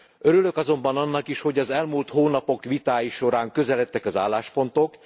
Örülök azonban annak is, hogy az elmúlt hónapok vitái során közeledtek az álláspontok.